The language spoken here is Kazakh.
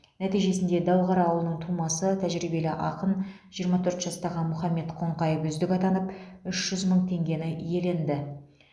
нәтижесінде дәуқара ауылының тумасы тәжірибелі ақын жиырма төрт жастағы мұхаммед қоңқаев үздік атанып үш жүз мың теңгені иеленді